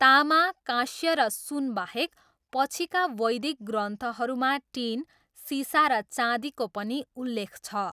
तामा, काँस्य र सुनबाहेक, पछिका वैदिक ग्रन्थहरूमा टिन, सिसा र चाँदीको पनि उल्लेख छ।